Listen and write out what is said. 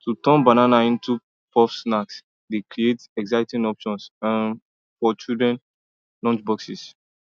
to turn banana into puff snacks dey create exciting option for um] children lunchboxes